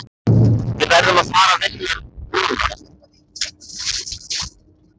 Við verðum að fara vinna núna.